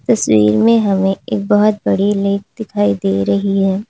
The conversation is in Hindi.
तस्वीर में हमें एक बहुत बड़ी लेक दिखाई दे रही है।